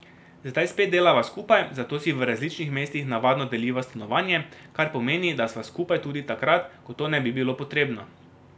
Zdaj spet delava skupaj, zato si v različnih mestih navadno deliva stanovanje, kar pomeni, da sva skupaj tudi takrat, ko to ne bi bilo potrebno.